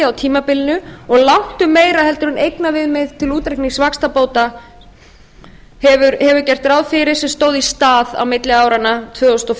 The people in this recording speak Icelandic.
á tímabilinu og langt um meira heldur en eignaviðmið til útreiknings vaxtabóta hefur gert ráð fyrir sem stóð í stað milli áranna tvö þúsund og